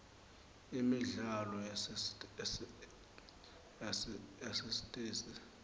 imidlalo yasesitesi